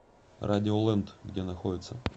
радиолэнд где находится